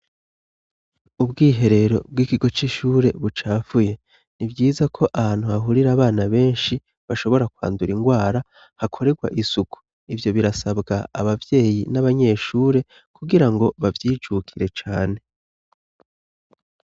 Ubwiherero bw'ikigo c'ishure bucafuye. Ni vyiza ko ahantu hahurira abana benshi bashobora kwandura ingwara, hakorerwa isuku. Ivyo birasabwa abavyeyi n'abanyeshure kugirango bavyijukire cane.